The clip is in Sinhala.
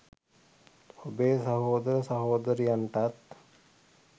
ඔබේ සහෝදර සහෝදරියන්ටත්